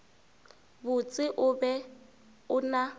botse o be o na